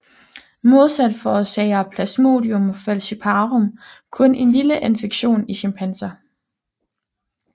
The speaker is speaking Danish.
Modsat forårsager Plasmodium falciparum kun en lille infektion i chimpanser